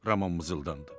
Ramon mızıldandı.